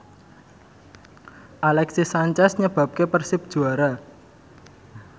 Alexis Sanchez nyebabke Persib juara